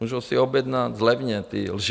Můžou si objednat levně, ty lži.